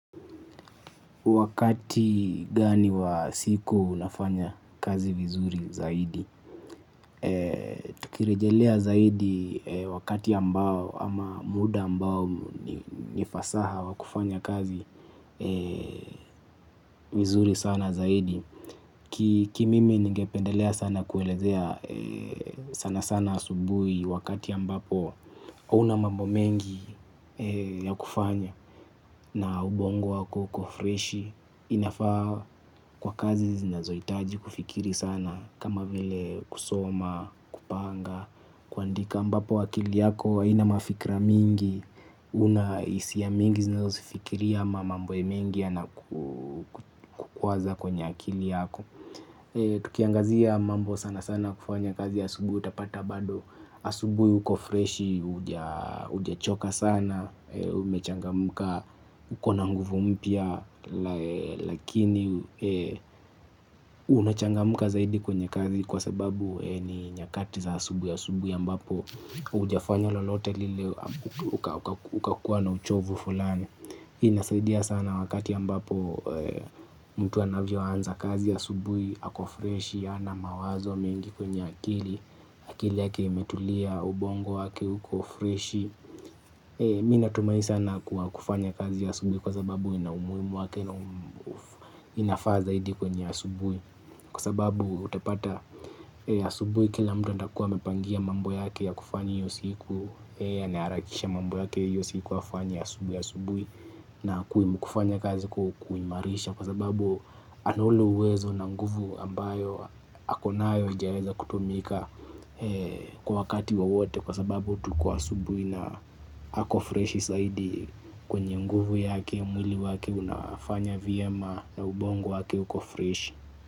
Wakati gani wa siku unafanya kazi vizuri zaidi. Tukirejelea zaidi wakati ambao ama muda ambao ni fasaha wa kufanya kazi vizuri sana zaidi Ki mimi ningependelea sana kuelezea sana sana asubui wakati ambapo una mambo mengi ya kufanya na ubongo wako uko freshi. Inafaa kwa kazi zinazoitaji kufikiri sana kama vile kusoma, kupanga, kuandika ambapo akili yako aina mafikra mingi. Una isia mingi zinazo zifikiria ama mambo ya mengi yanakukwaza kwenye akili yako. Tukiangazia mambo sana sana kufanya kazi asubui utapata bado. Asubui uko freshi uja choka sana. Umechangamuka ukona nguvu mpya. Lakini unachangamuka zaidi kwenye kazi kwa sababu ni nyakati za asubui ambapo ujafanya lolote lile ukakuwa na uchovu fulani. Inasaidia sana wakati ambapo mtu anavyo anza kazi ya asubui. Ako fresh ana mawazo mingi kwenye akili. Akili yake imetulia ubongo wake huko fresh. Mi natumai sana kwa kufanya kazi asubui. Kwa sababu ina umuimu wake inafaa zaidi kwenye asubui. Kwa sababu utapata asubui kila mtu andakuwa amepangia mambo yake ya kufanya hiyo siku. Ana harakisha mambo yake hiyo siku wafanya asubui asubui. Na kuimu kufanya kazi kuimarisha kwa sababu ana ule uwezo na nguvu ambayo ako nayo ijaeza kutumika kwa wakati wowote kwa sababu tuko asubui na ako freshi saidi kwenye nguvu yake mwili wake unafanya vyema na ubongo wake uko fresh.